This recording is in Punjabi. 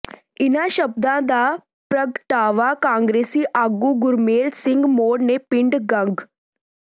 ਇਨ੍ਹਾਂ ਸ਼ਬਦਾਂ ਦਾ ਪ੍ਰਗਟਾਵਾ ਕਾਂਗਰਸੀ ਆਗੂ ਗੁਰਮੇਲ ਸਿੰਘ ਮੌੜ ਨੇ ਪਿੰਡ ਗੰਗ